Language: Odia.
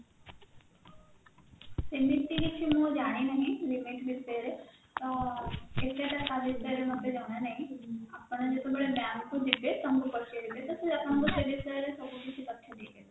ଏମିତି ମୁଁ କିଛି ଜାଣିନହିଁ limit ବିଷୟରେ ତ ସେତେଟା ତା ବିଷୟରେ ମତେ ଜଣାନହିଁ ଆପଣ ଯେତେବେଳେ bank କୁ ଯିବେ ତ ତାଙ୍କୁ ପଚାରିବେ ତ ସେ ଆପଣଙ୍କୁ ସେ ବିଷୟରେ ସବୁ କିଛି ତଥ୍ୟ ଦେଇପାରିବ